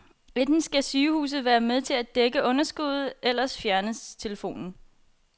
Enten skal sygehuset være med til at dække underskuddet, ellers fjernes telefonen.